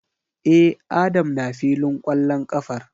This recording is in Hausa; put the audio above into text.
E, Adam na filin kwallon kafar.